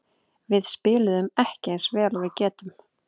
Við spiluðum ekki eins vel og við getum.